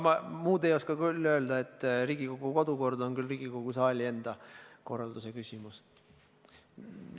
Ma muud ei oska öelda, kui et Riigikogu kodukord on küll Riigikogu saali enda küsimus.